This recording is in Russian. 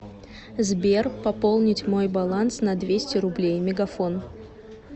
сбер пополнить мой баланс на двести рублей мегафон